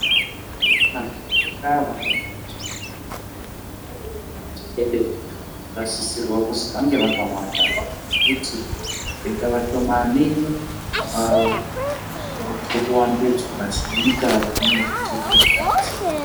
Madhokota vanoona ngezveutano nana mbuya mutekede vanosisirwa kuzi vange vakawanda ngekuti vakaite vashomanai apa tiri kuwandudzwa senyika zvinozotiitire dambudziko.